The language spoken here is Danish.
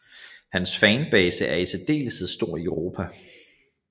Hans fanbase er i særdeleshed stor i Europa